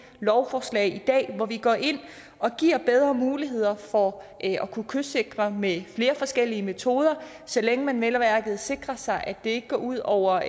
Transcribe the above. lovforslag i dag hvor vi går ind og giver bedre muligheder for at kunne kystsikre med flere forskellige metoder så længe man vel at mærke sikrer sig at det ikke går ud over